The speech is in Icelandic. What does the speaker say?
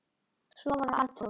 Svo var það Arnþór.